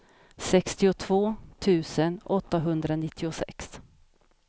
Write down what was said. sextiotvå tusen åttahundranittiosex